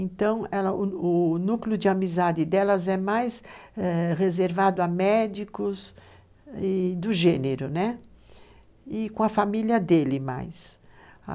Então, ela, o núcleo de amizade delas é mais reservado a médicos do gênero, né? e com a família dele mais.